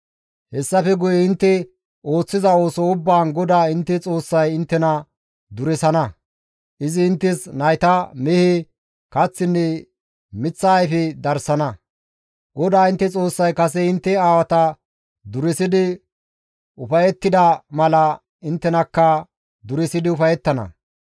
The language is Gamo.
Hessafe guye intte ooththiza ooso ubbaan GODAA intte Xoossay inttena duresana; izi inttes nayta, mehe, kaththinne miththa ayfe darsana; GODAA intte Xoossay kase intte aawata duresidi ufayettida mala inttenakka duresidi ufayettana.